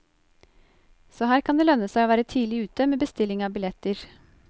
Så her kan det lønne seg å være tidlig ute med bestilling av billetter.